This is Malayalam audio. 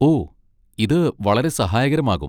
ഓ, ഇത് വളരെ സഹായകരമാകും.